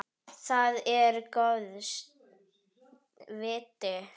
Það er góðs viti.